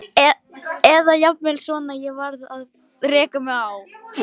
Þengill, hvaða dagur er í dag?